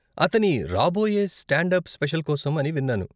అతని రాబోయే stand up special కోసం అని విన్నాను.